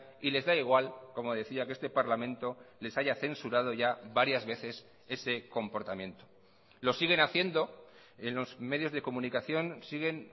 y les da igual como decía que este parlamento les haya censurado ya varias veces ese comportamiento lo siguen haciendo en los medios de comunicación siguen